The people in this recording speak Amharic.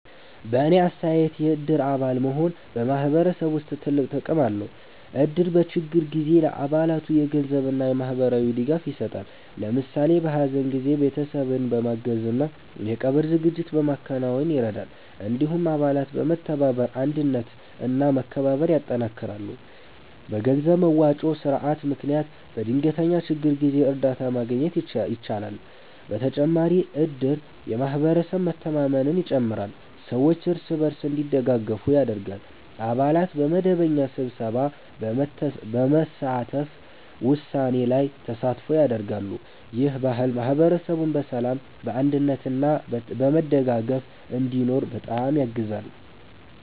በእኔ አስተያየት የእድር አባል መሆን በማህበረሰብ ውስጥ ትልቅ ጥቅም አለው። እድር በችግር ጊዜ ለአባላቱ የገንዘብ እና የማህበራዊ ድጋፍ ይሰጣል። ለምሳሌ በሀዘን ጊዜ ቤተሰብን በማገዝ እና የቀብር ዝግጅት በማከናወን ይረዳል። እንዲሁም አባላት በመተባበር አንድነት እና መከባበር ያጠናክራሉ። በገንዘብ መዋጮ ስርዓት ምክንያት በድንገተኛ ችግር ጊዜ እርዳታ ማግኘት ይቻላል። በተጨማሪም እድር የማህበረሰብ መተማመንን ይጨምራል፣ ሰዎች እርስ በርስ እንዲደጋገፉ ያደርጋል። አባላት በመደበኛ ስብሰባ በመሳተፍ ውሳኔ ላይ ተሳትፎ ያደርጋሉ። ይህ ባህል ማህበረሰቡን በሰላም፣ በአንድነት እና በመደጋገፍ እንዲኖር በጣም ያግዛል።